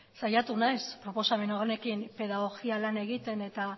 saiatu naiz proposamen honekin pedagogia lana egiten eta